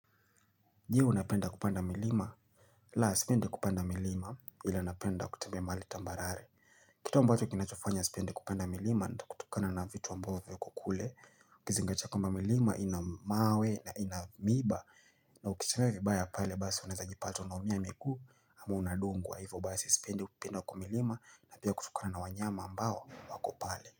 Je unapenda kupanda milima la sipende kupanda milima ili napenda kutembea mahali tambarare Kitu ambacho kinachofanya sipende kupanda milima nda kutukana na vitu ambao kukule Ukizingatia kwamba milima ina mawe na ina miba na ukichame vibaya pale basi unaweza jipata unaumia miguu ama unadungwa wa hivu basi sipende kupanda kwa milima na pia kutukana na wanyama ambao wako pale.